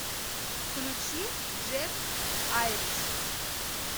включи джек айриш